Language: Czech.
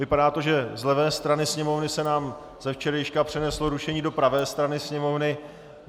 Vypadá to, že z levé strany Sněmovny se nám ze včerejška přeneslo rušení do pravé strany Sněmovny.